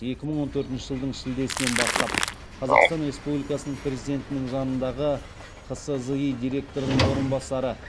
екі мың он төртінші жылдың шілдесінен бастап қазақстан республикасының президентінің жанындағы қсзи директорының орынбасары